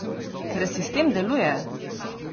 Ker sistem deluje!